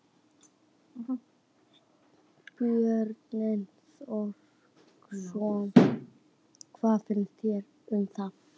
Björn Þorláksson: Hvað finnst þér um það?